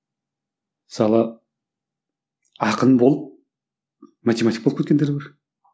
мысалы ақын болып математик болып кеткендер бар